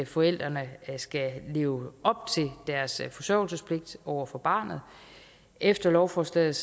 forældrene skal leve op til deres forsørgelsespligt over for barnet efter lovforslaget